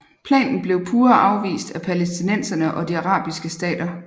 Planen blev pure afvist af palæstinenserne og de arabiske stater